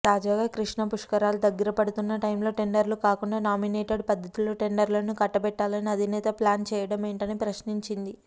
తాజాగా కృష్ణా పుష్కరాలు దగ్గరపడుతున్న టైంలో టెండర్లు కాకుండా నామినేటెడ్ పద్దతిలో టెండర్లను కట్టబెట్టాలని అధినేత ప్లాన్ చేయడమేంటని ప్రశ్నించింది